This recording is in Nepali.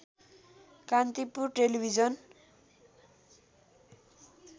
कान्तिपुर टेलिभिजन